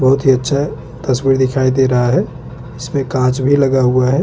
बहुत ही साफ सफाई का विशेष ध्यान दिया गया है।